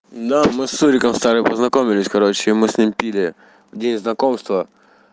да мы с суриком стали познакомились короче и мы с ним пили в день знакомства